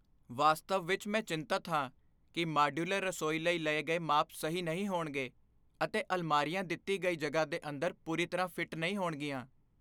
ਵਾਸਤਵ ਵਿਚ ਮੈਂ ਚਿੰਤਤ ਹਾਂ ਕਿ ਮਾਡਯੂਲਰ ਰਸੋਈ ਲਈ ਲਏ ਗਏ ਮਾਪ ਸਹੀ ਨਹੀਂ ਹੋਣਗੇ, ਅਤੇ ਅਲਮਾਰੀਆਂ ਦਿੱਤੀ ਗਈ ਜਗ੍ਹਾ ਦੇ ਅੰਦਰ ਪੂਰੀ ਤਰ੍ਹਾਂ ਫਿੱਟ ਨਹੀਂ ਹੋਣਗੀਆਂ।